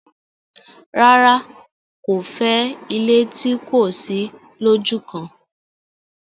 rárá, kò fẹ́ ilé tí kò sí lójúkan.